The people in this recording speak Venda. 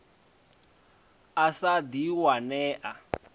a sa ḓi wane a